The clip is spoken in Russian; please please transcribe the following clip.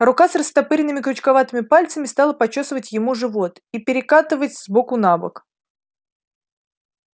рука с растопыренными крючковатыми пальцами стала почёсывать ему живот и перекатывать с боку на бок